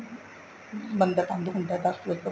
ਮੰਦਰ ਬੰਦ ਹੁੰਦਾ ਦਸ ਵਜ਼ੇ ਤੋਂ ਬਾਅਦ